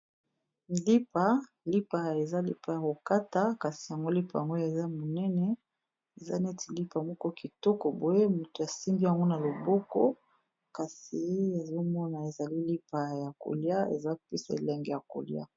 Lipa, lipa eza lipa ya ko kata, kasi lipa yango oyo eza munene, eza neti lipa moko kitoko . Boye moto a simbi yango na loboko, kasi ezo mona ezali lipa ya kolia, eza peda elengi ya kolia .